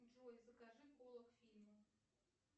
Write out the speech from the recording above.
джой закажи кола к фильму